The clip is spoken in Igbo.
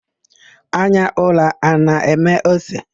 Anya ụra a na-eme ose?